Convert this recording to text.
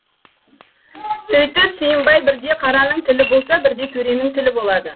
сүйтіп сүйімбай бірде қараның тілі болса бірде төренің тілі болады